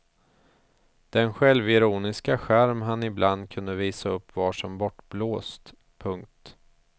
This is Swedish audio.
Den självironiska charm han ibland kan visa upp var som bortblåst. punkt